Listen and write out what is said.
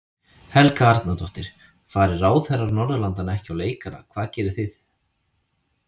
Helga Arnardóttir: Fari ráðherrar Norðurlandanna ekki á leikana hvað gerið þið?